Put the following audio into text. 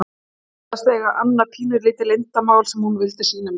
Hún sagðist eiga annað pínulítið leyndarmál sem hún vildi sýna mér.